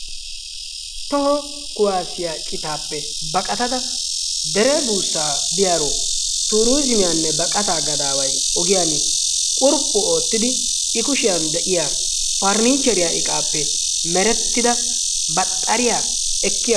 Toho kuwaassiya citaappe baqatada dere buussaa biyaaro tuurizzimiyanne baqataa gadaaway qurphu ootidi I kushiyan de'iya paarinicheriya iqaappe merettida baxxariya ekkiya